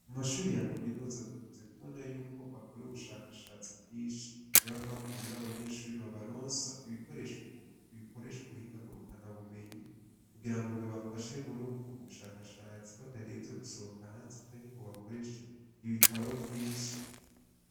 Mumashure ya Kaminuza dukunze kubona yuko bakora ubushakashatsi bwinshi. Niyo mpamvu rero abanyeshure babaronsa ibikoresho bikoresha ubuhinga ngurukanabumenyi kugira ngo bibafashe muri ubwo bushakashatsi batarinze gusohoka hanze canke ngo bakoreshe ibitabo vyinshi.